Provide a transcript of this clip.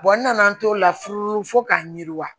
n nana n t'o la furu fo k'a yiriwa